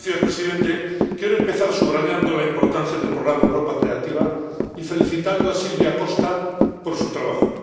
Señor presidente, quiero empezar subrayando la importancia del programa Europa Creativa y felicitando a Silvia Costa por su trabajo.